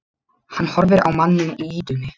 Hann horfir á manninn í ýtunni.